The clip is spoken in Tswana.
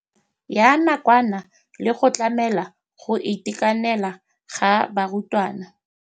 Ya nakwana le go tlamela go itekanela ga barutwana.